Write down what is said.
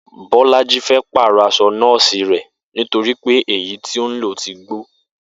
Bó̩lájí fé̩ pàrò̩ as̩o̩ nó̩ò̩sì rè̩ nítorí pé èyí tó ń lò ti gbó